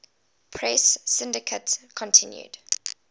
press syndicate continued